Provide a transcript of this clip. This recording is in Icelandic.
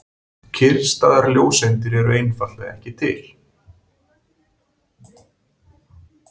Kyrrstæðar ljóseindir eru einfaldlega ekki til.